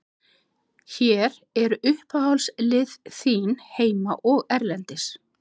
Hver eru uppáhaldslið þín heima og erlendis?